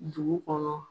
Dugu kɔnɔ